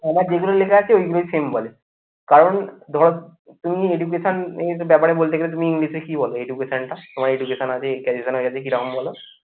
আমার যেগুলো লেখা আছে ঐগুলোই same বলে কারণ ধর তুমি education এর ব্যাপারে বলতে গেলে তুমি English এ কি বলো? Education টা তোমার education আছে. এই এর কাছে কি রকম বলো